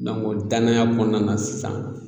Dɔnke o danaya kɔnɔna na sisan